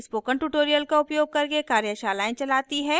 spoken tutorial का उपयोग करके कार्यशालाएँ चलाती है